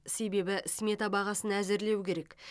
себебі смета бағасын әзірлеу керек